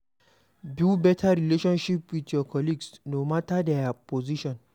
Build better relationship with your colleague no matter their position